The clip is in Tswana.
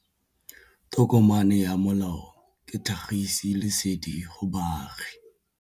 Tokomane ya molao ke tlhagisi lesedi go baagi.